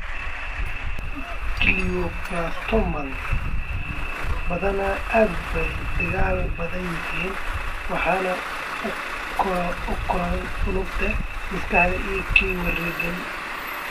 Glioblastomas badanaa aad bay u dagaal badan yihiin waxayna u koraan unugyada maskaxda ee ku wareegsan.